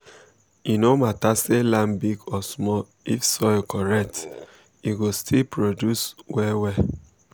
e no matter say land big or small if soil correct um e go um still produce well well.